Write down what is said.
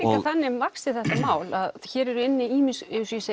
þannig vaxið þetta mál að hér eru inni ýmis